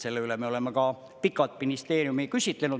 Selle üle me oleme ka pikalt ministeeriumi küsitlenud.